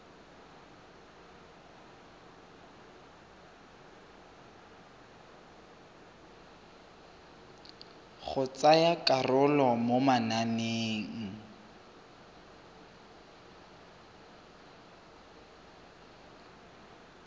go tsaya karolo mo mananeng